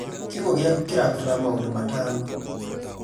kiugũ gĩaku kĩrabatara maũndũ matano